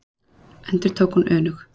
endurtók hún önug.